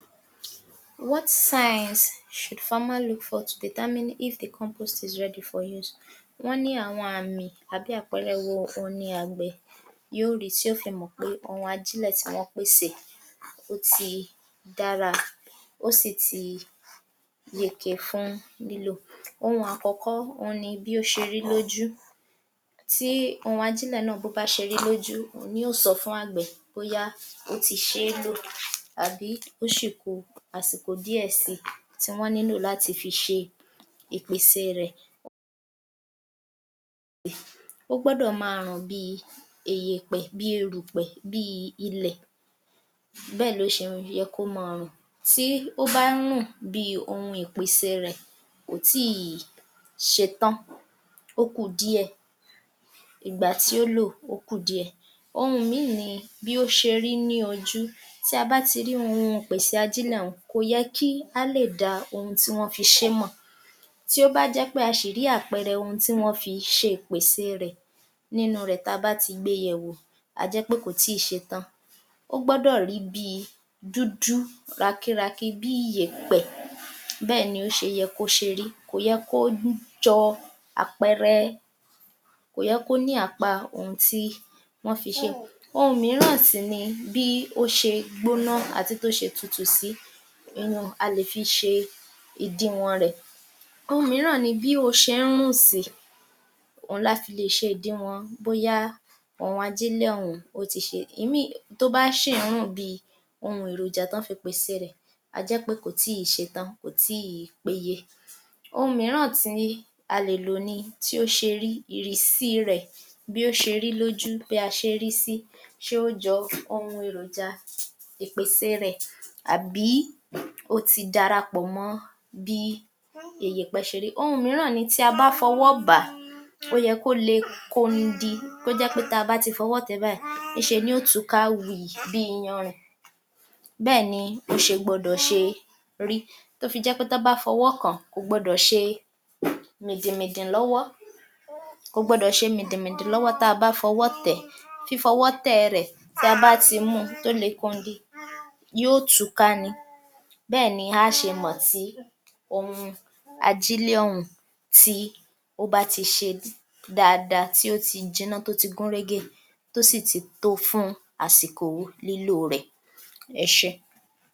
45. What signs should farmer look for to determine if the compose is ready for use. Wọ́n ní àwọn ààmì àbí àpẹẹrẹ wo òhun ni àgbẹ̀ yó rìí tí ó fi mọ̀ pé ohun ajílẹ̀ tí wọ́n pèsè ó ti dára ó sì ti yege fún lílò. Ohun àkọ́kọ́, òhun ni bí ó ṣe rí lójú tí ohun àjílẹ̀ náà bó bá ṣe rí lójú òhun ni ó sọ fún àgbẹ̀ bóyá ó ti ṣe é lò àbí ó ṣì ku àsìkò díẹ̀ si tí wọ́n nílò láti fi ṣe ìpèsèe rẹ̀. Ó gbọ́dọ̀ ma rùn bíi eyèpẹ̀, bíi irùpẹ̀, bíi ilẹ̀ bẹ́ẹ̀ ló ṣe yẹ kó máa rùn, tí ó bá ń rùn bíi ohun ìpèsèe rẹ̀ kò tíìì ṣetán ó kù díẹ̀, ìgbà tí ó lò ó kù díẹ̀. Ohun míì ni, bí ó ṣe rí ní ojú, tí a bá ti rí ohun ìpèsè àjílẹ̀ un kò yẹ kí á lè dá ohun tí wọ́n fi ṣe é mọ̀, tí ó bá jẹ́ pé a ṣì rí àpẹẹrẹ ohun tí wọ́n fi ṣe ìpèsèe rẹ̀ nínú rẹ̀ tí a bá ti gbé e yẹ̀wò, a jẹ́ pé kò tíì ṣetán ó gbọ́dọ̀ rí bíi dúdú rakírakí, bíi yèpẹ̀ bẹ́ẹ̀ ni ó ṣe yẹ kó ṣe rí kò yẹ kó um jọ àpẹẹrẹ kò yẹ kó ní àpa ohun tí wọ́n fi ṣe. Ohun mìíràn sì ni bí ó ṣe gbóná àti tó ṣe tutù sí, a lè fi ṣe ìdiwọ̀n-ọn rẹ̀. Ohun mìíràn ni bí ó ṣe ń rùn sí òhun la fi lè ṣe òdiwọ̀n-ọn bóyá ohun àjílẹ̀ ọ̀hún ó ti ṣe ìmíì um tó bá ṣì ń rùn bíi ohun èròjà tí wọ́n fi pèsèe rẹ̀, a jẹ́ pé kò tíì ṣetán kò tíìì péye. Ohun mìíràn tì ni a lè lò ni tí ó ṣe rí, ìrísí rẹ̀ bí ó ṣe rí lójú bí a ṣe rí sí, ṣe ó jọ ohun èròjà ìpèsèe rẹ̀ àbí ó ti dárapọ̀ mọ́ bí eyẹ̀pẹ́ ṣe rí. Ohun mìíràn ni tí a bá fọwọ́ bà á, ó yẹ kó le kondi tó jẹ́ pé táa bá ti fọwọ́ tẹ̀ ẹ́ báyìí íṣe ni ó tùú ká wììì bí iyanrìn bẹ́ẹ̀ni ó ṣe gbọdọ̀ ṣe rí tó fi jẹ́ pé tọ́ bá fọwọ́ kàn án kò gbọdọ̀ ṣe mìdìnmìdìn lọ́wọ́ tá a bá fọwọ́ tẹ̀ ẹ́, fífọwọ́ tẹ̀ ẹ rẹ̀, tí a bá ti mú un tó le kondi yó tùúká ni bẹ́ẹ̀ ni a á ṣe mọ̀ tí ohun àjílẹ̀ ọ̀hún tí ó bá ti ṣe dáadáa tí ó ti jiná tó ti gúnrégé tó sì ti tó fún àsìkò lílòo rẹ̀. Ẹ ṣé.